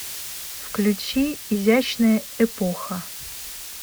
включи изящная эпоха